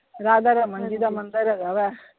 ਰਾਧਾ ਰਮਨ ਜੀ ਦਾ ਮੰਦਿਰ ਹੈਗਾ ਵਾ।